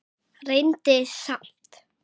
Reyndi samt.